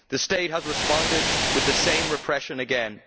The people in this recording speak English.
The State has responded with the same repression again.